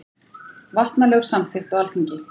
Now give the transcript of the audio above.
Vatnalög samþykkt á Alþingi.